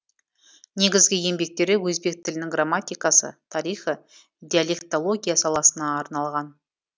негізгі еңбектері өзбек тілінің грамматикасы тарихы диалектология саласына арналған